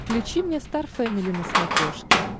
включи мне стар фэмили на смотрешке